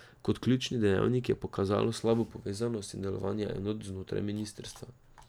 Kot ključni dejavnik je pokazalo slabo povezanost in delovanje enot znotraj ministrstva.